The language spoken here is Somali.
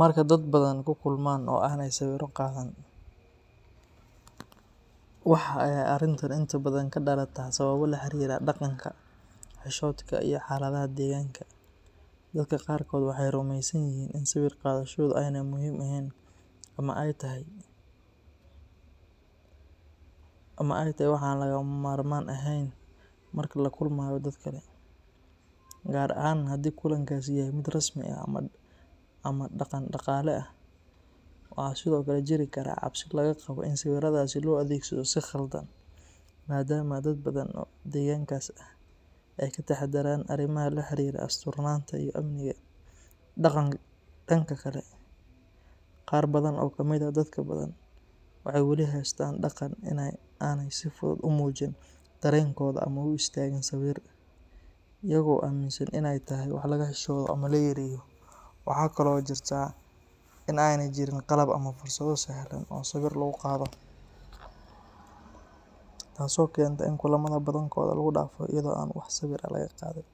Marka dadka Badhan ku kulmaan oo aanay sawiro qaadan, waxa ay arrintani inta badan ka dhalataa sababo la xiriira dhaqanka, xishoodka, iyo xaaladaha deegaanka. Dadka qaarkood waxay rumaysan yihiin in sawir qaadashadu aanay muhiim ahayn ama ay tahay wax aan lagama maarmaan ahayn marka la kulmayo dad kale, gaar ahaan haddii kulankaasi yahay mid rasmi ah ama dhaqan-dhaqaale leh. Waxaa sidoo kale jiri kara cabsi laga qabo in sawiradaasi loo adeegsado si khaldan, maadaama dad badan oo deegaankaas ah ay ka taxadaraan arrimaha la xiriira asturnaanta iyo amniga. Dhanka kale, qaar badan oo ka mid ah dadka Badhan waxay weli haystaan dhaqan ah in aanay si fudud u muujin dareenkooda ama u istaagin sawir, iyaga oo aaminsan in ay tahay wax laga xishooto ama la yareeyo. Waxa kale oo jirta in aanay jirin qalab ama fursado sahlan oo sawiro lagu qaado, taasoo keenta in kulamada badankooda lagu dhaafo iyada oo aan wax sawir ah laga qaadin.